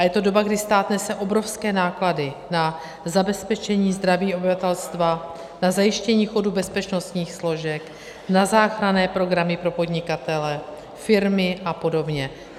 A je to doba, kdy stát nese obrovské náklady na zabezpečení zdraví obyvatelstva, na zajištění chodu bezpečnostních složek, na záchranné programy pro podnikatele, firmy a podobně.